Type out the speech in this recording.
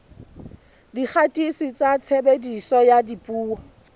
dikgatiso tsa tshebediso ya dipuo